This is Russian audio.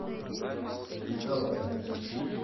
николаева